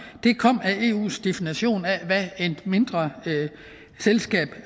det kom af eus definition af hvad et mindre selskab